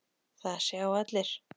Það sjá allir.